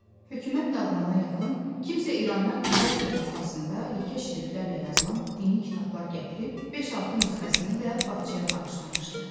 Hökumət dağılana yaxın kimsə İrandan kiril əlifbasında yekə şriftlərlə yazılan dini kitablar gətirib, 5-6 nüsxəsini də bağçaya bağışlamışdı.